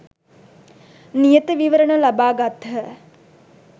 නියත විවරණ ලබා ගත්හ.